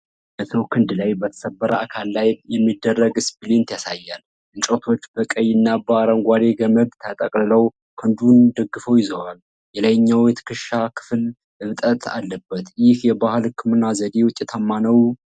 በሰው ክንድ ላይ በተሰበረ አካል ላይ የሚደረግ ስፕሊንት ያሳያል። እንጨቶች በቀይና በአረንጓዴ ገመድ ተጠቅልለው ክንዱን ደግፈው ይዟል። የላይኛው የትከሻ ክፍል እብጠት አለበት። ይህ የባህል ሕክምና ዘዴ ውጤታማ ነው?